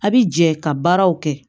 A' bi jɛ ka baaraw kɛ